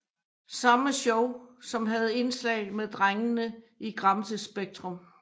Samme show som havde indslag med drengene i Gramsespektrum